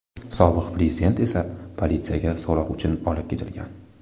Sobiq prezident esa politsiyaga so‘roq uchun olib ketilgan.